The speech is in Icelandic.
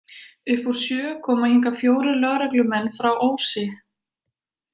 Upp úr sjö koma hingað fjórir lögreglumenn frá Ósi.